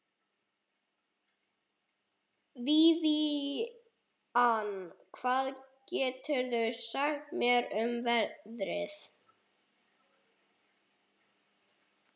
Vivian, hvað geturðu sagt mér um veðrið?